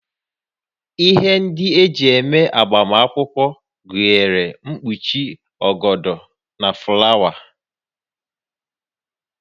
Ihe ndị eji eme agbamakwụkwọ gụnyere mkpuchi, ọgọdọ na fụlawa